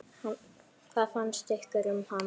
Hvað fannst ykkur um hann?